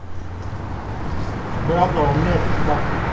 приятного мне аппетита